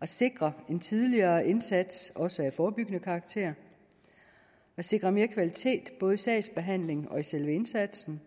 at sikre en tidligere indsats også af forebyggende karakter at sikre mere kvalitet både i sagsbehandlingen og i selve indsatsen